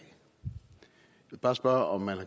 vil bare spørge om man i